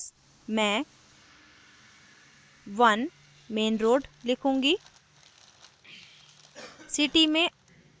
residential addressmain 1 main road लिखूंगी